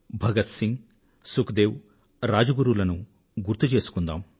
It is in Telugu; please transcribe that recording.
భగత్ సింగ్ సుఖ్ దేవ్ రాజ్ గురూ లను గుర్తు చేసుకుందాం